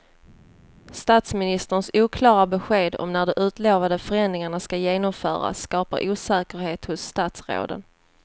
Statsministerns oklara besked om när de utlovade förändringarna ska genomföras skapar osäkerhet hos statsråden.